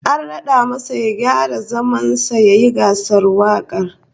An rad'a masa ya gyara zaman sa yayin gasar wakar